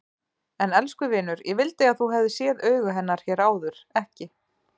En elsku vinur, ég vildi að þú hefðir séð augu hennar hér áður, ekki